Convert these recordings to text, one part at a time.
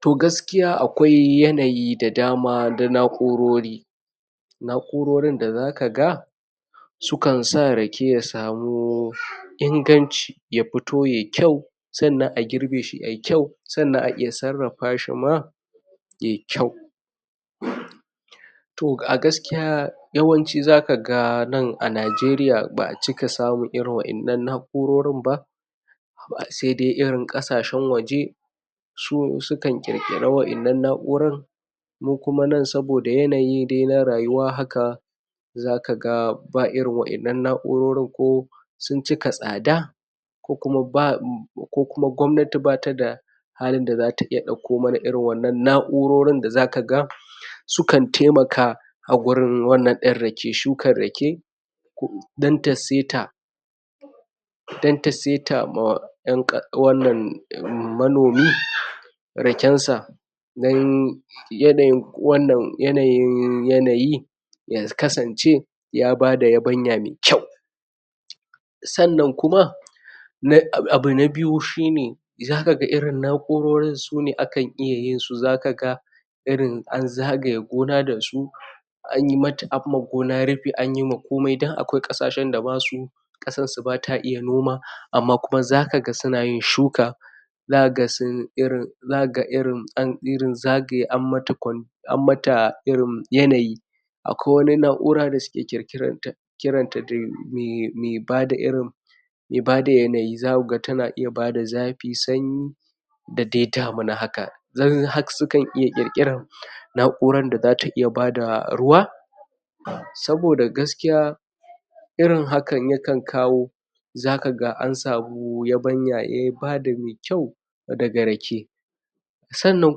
To gaskiya akwai yanayi da dama na na'urori na'urorin da za ka ga sukan sa rake ya samu inganci ya fito yayi kyau sannan a girbe shi ai kyau sannan a iya sarrafashi ma yai kyau? to a gaskiya yawanci za ka ga nan a Nijeriya ba a cika samun irin wannan na'urorin ba sai dai irin ƙasashen waje su sukan ƙirƙiri waɗannan na'urar mu kuma nan saboda yanayi na rayuwa haka za ka ga ba irin waɗannan na'urorin ko sun cika tsada ko kuma ba ko kuma gwamnati bata da halin da za ta dauko mana irin wannan na'urorin da za ka ga sukan taimka a gurin wannan din rake shukan rake don ta saita don ta saita ma 'yan ka wannan ehm manomi raken sa nan yanayin wannan yanayin yanayi ya kasance ya bada yabanya mai kyau sannan kuma na abu na biyu shine za ka ga irin na'urorin sune akan iya yin su za ka ga irin an zagaye gona da su an yi mata an ma gona rifi an yi ma komai don akwai ƙasashen da ma su ƙasan su bata iya an ma kuma za ka ga suna yin shuka za ka ga sun iya irin za ka ga irin an irin zagaye an mata an mata irin yanayi akwai wani na'ura da suka ƙirƙiranta kiranta irin da me bada irin mai bada yanayi zakuga tana iya bada zafi sanyi da dai damina haka don har sukan iya ƙirƙiran na'uran da zata iya bada ruwa saboda gaskiya irin hakan yakan iya kawo za kaga an samu yabanya eh ya bada mai kyau na rake sannan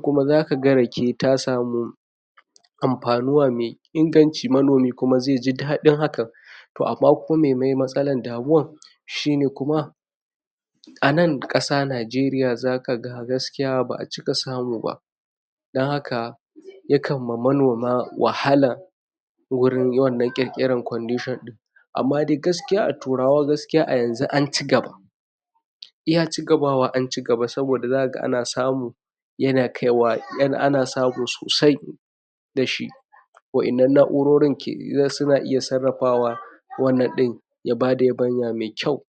kuma za ka ga rage ta samu amfanuwa mai inganci manomi kuma zaiji daɗin hakan to amma kuma mene matsalar damuwan shine kuma a nan ƙasa Nijeriya za ka ga gaskiya ba a cika samu ba don haka yakan ma manoma wahala wurin wannan ƙirƙiran condition din amma dai gaskiya a turawa gaskiya a yanzu an anci gaba iya ci gabawa an ci gaba saboda za ka ga ana samu yana kaiwa ai ana samu sosai da shi waɗannan na'urorin ke suna iya sarrafawa wannan ɗin ya bada yabanya mai kyau.